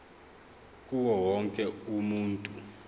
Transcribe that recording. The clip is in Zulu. kuwo wonke umuntu